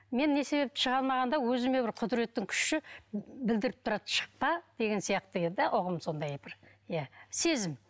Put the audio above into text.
мен не себепті шыға алмағанда өзіме бір құдіреттің күші білдіріп тұрады шықпа деген сияқты еді де ұғым сондай бір иә сезім